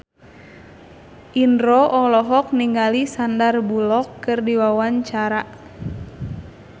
Indro olohok ningali Sandar Bullock keur diwawancara